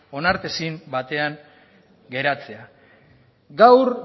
onartezin batean geratzea gaur